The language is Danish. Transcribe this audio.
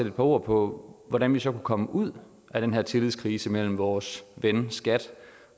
et par ord på hvordan vi så kan komme ud af den her tillidskrise mellem vores ven skat